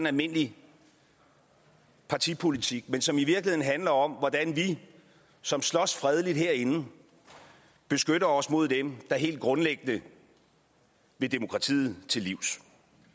almindelig partipolitik men som i virkeligheden handler om hvordan vi som slås fredeligt herinde beskytter os mod dem der helt grundlæggende vil demokratiet til livs